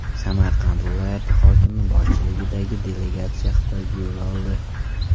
Samarqand viloyati hokimi boshchiligidagi delegatsiya Xitoyga yo‘l oldi.